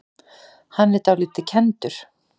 Hann er dálítið kenndur.